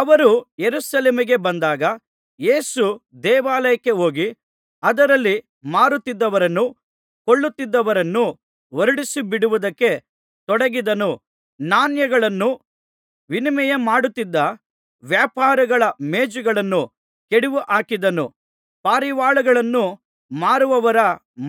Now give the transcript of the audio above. ಅವರು ಯೆರೂಸಲೇಮಿಗೆ ಬಂದಾಗ ಯೇಸು ದೇವಾಲಯಕ್ಕೆ ಹೋಗಿ ಅದರಲ್ಲಿ ಮಾರುತ್ತಿದ್ದವರನ್ನೂ ಕೊಳ್ಳುತ್ತಿದ್ದವರನ್ನೂ ಹೊರಡಿಸಿಬಿಡುವುದಕ್ಕೆ ತೊಡಗಿದನು ನಾಣ್ಯಗಳನ್ನು ವಿನಿಮಯಮಾಡುತ್ತಿದ್ದ ವ್ಯಾಪಾರಿಗಳ ಮೇಜುಗಳನ್ನು ಕೆಡವಿಹಾಕಿದನು ಪಾರಿವಾಳಗಳನ್ನು ಮಾರುವವರ